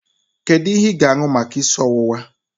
Kedu ihe ị ga-aṅụ maka isi ọwụwa?